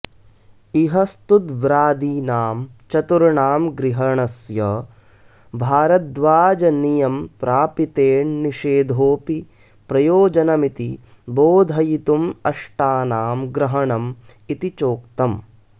इह स्तुद्व्रादीनां चतुर्णां ग्रहणस्य भारद्वाजनियमप्रापितेण्निषेधोऽपि प्रयोजनमिति बोधयितुमष्टानां ग्रहणमिति नोक्तम्